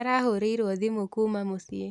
Arahũrĩirwo thimũ kuma mũciĩ